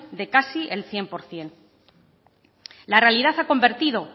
de casi el cien por ciento la realidad ha convertido